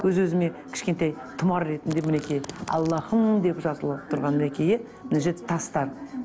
өз өзіме кішкентай тұмар ретінде мінекей аллахым деп жазылып тұрған мінекей мына жерде тастар